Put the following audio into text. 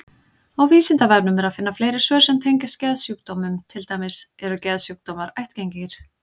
Á Vísindavefnum er að finna fleiri svör sem tengjast geðsjúkdómum, til dæmis: Eru geðsjúkdómar ættgengir?